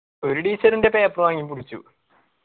ഒരു teacher എന്റെ paper വാങ്ങി പിടിച്ചു.